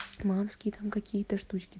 мамские там какие-то штучки